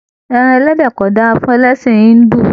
Ẹran ẹlẹdẹ ko dára fún ẹlẹsin Hindu.